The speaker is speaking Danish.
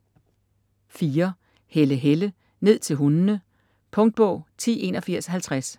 Helle, Helle: Ned til hundene Punktbog 108150